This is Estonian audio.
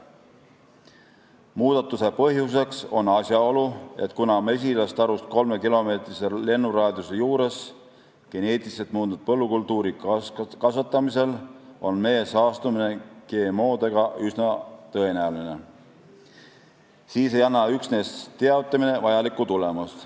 Muudatuse põhjuseks on asjaolu, et kuna mesilastarust kolme kilomeetri lennuraadiuses geneetiliselt muundatud põllukultuuri kasvatamisel on mee saastumine GMO-dega üsna tõenäoline, siis ei anna üksnes teavitamine vajalikku tulemust.